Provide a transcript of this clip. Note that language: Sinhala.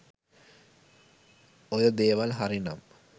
ඔය දේවල් හරි නම්